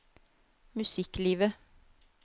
musikklivet